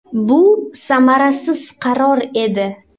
Bu samarasiz qaror edi.